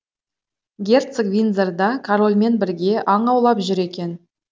герцог виндзорда корольмен бірге аң аулап жүр екен